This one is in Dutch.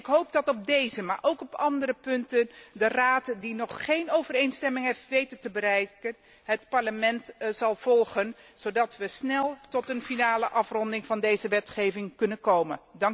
Ik hoop dat op deze, maar ook op andere punten, de Raad die nog geen overeenstemming heeft weten te bereiken, het Parlement zal volgen zodat we snel tot een finale afronding van deze wetgeving kunnen komen.